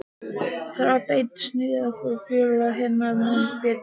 Þráðbeint sniðið fór félaga hennar mun betur.